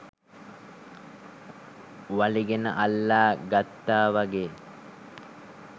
වලිගෙන අල්ලා ගත්තා වගෙයි.